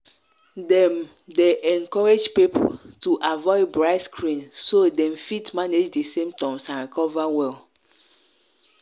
dem dey encourage people to avoid bright screen so dem fit manage di symptoms and recover well.